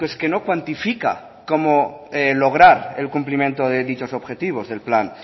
que no cuantifica cómo lograr el cumplimiento de dichos objetivos del plan